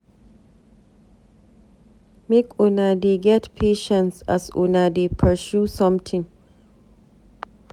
Make una dey get patience as una dey pursue somtin.